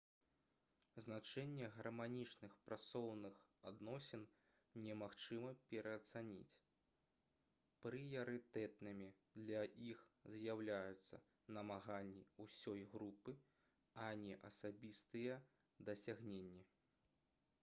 значэнне гарманічных працоўных адносін немагчыма пераацаніць прыярытэтнымі для іх з'яўляюцца намаганні ўсёй групы а не асабістыя дасягненні